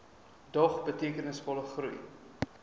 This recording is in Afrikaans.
dog betekenisvolle groei